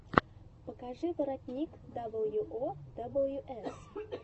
покажи воротник дабл ю о дабл ю эс